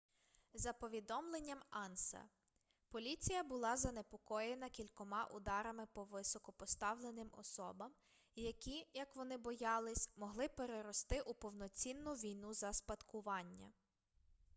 за повідомленням анса поліція була занепокоєна кількома ударами по високопоставленим особам які як вони боялись могли перерости у повноцінну війну за спадкування